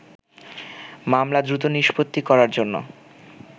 মামলা দ্রুত নিষ্পত্তি করার জন্য